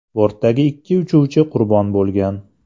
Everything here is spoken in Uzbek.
Bortdagi ikki uchuvchi qurbon bo‘lgan.